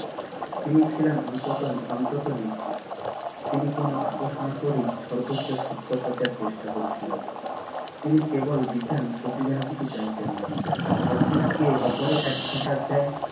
তিনি ছিলেন অন্তত নির্ভীক তিনি কোনো আপোষ না করেই সর্বোচ্চ সত্য খোঁজার চেষ্টা করেছিলেন তিনি কেবল দিতেন প্রতিদানে কিছু চাইতেন না অপরকে অপরে এক ফোটা দেয়